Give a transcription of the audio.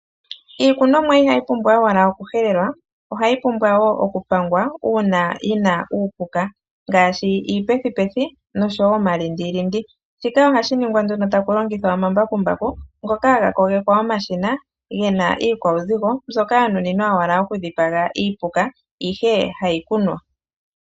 Iikunomwa inayi pumbwa owala okuhelelwa, ohayi pumbwa wo okupangwa uuna yi na uupuka, ngaashi iipethipethi, nosho wo omalindilindi. Shika ohashi ningwa nduno taku longithwa omambakumbaku, ngoka haga kogekwa omashina ge na iikwauzigo mbyoka ya nuninwa owala okudhipaga iipuka, ihe ha iikunwa.